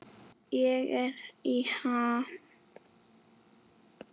Ég er í ham.